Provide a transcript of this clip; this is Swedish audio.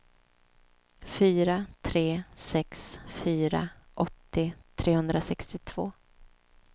fyra tre sex fyra åttio trehundrasextiotvå